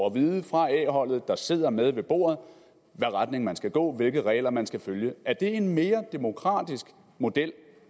at vide fra a holdet der sidder med ved bordet hvad retning man skal gå i hvilke regler man skal følge er det en mere demokratisk model